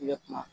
Ne kuma